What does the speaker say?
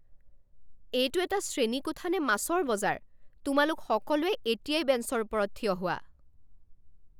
এইটো এটা শ্ৰেণীকোঠা নে মাছৰ বজাৰ? তোমালোক সকলোৱে এতিয়াই বেঞ্চৰ ওপৰত থিয় হোৱা!